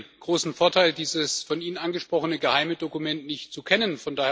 Ich habe den großen Vorteil, dieses von Ihnen angesprochene geheime Dokument nicht zu kennen.